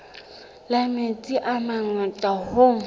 la metsi a mangata hoo